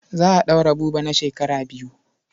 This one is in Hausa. Za a ɗaure Buba na shekara biyu.